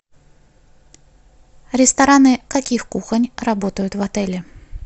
рестораны каких кухонь работают в отеле